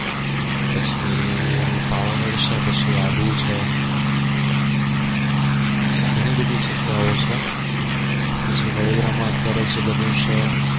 પછી પાવગઢ છે પછી આબુ છે પછી ઘણી બધી જગ્યાઓ છે પછી વડોદરા માં જે અત્યારે જે બન્યું છે